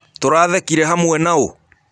Tũrathekĩre hamwe naũ?